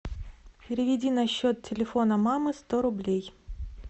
переведи на счет телефона мамы сто рублей